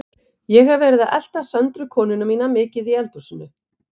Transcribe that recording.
Ég hef verið að elta Söndru konuna mína mikið í eldhúsinu.